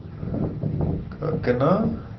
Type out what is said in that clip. ਕਿ ਕਿੰਨਾ